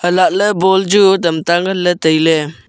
hai lah ley ball chu tamta nganley tailey.